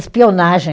Espionagem.